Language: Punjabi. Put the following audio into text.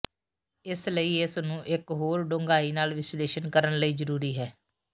ਇਸ ਲਈ ਇਸ ਨੂੰ ਇੱਕ ਹੋਰ ਡੂੰਘਾਈ ਨਾਲ ਵਿਸ਼ਲੇਸ਼ਣ ਕਰਨ ਲਈ ਜ਼ਰੂਰੀ ਹੈ